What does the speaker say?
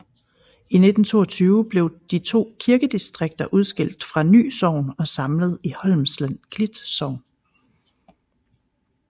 I 1922 blev de to kirkedistrikter udskilt fra Ny Sogn og samlet i Holmsland Klit Sogn